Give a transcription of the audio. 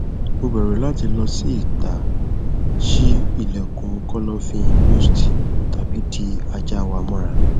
mo bẹru lati lọ si ita ṣii ilẹkun kọlọfin musty tabi di aja wa mọra